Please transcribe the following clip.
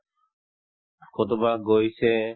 কৰবাত গৈছে